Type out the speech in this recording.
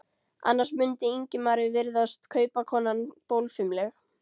Annars mundi Ingimari virðast kaupakonan bólfimleg.